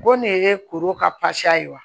Go nin ye kuru ka ye wa